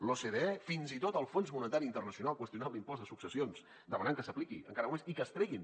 l’ocde fins i tot el fons monetari internacional ha qüestionat l’impost de successions demanant que s’apliqui encara molt més i que es treguin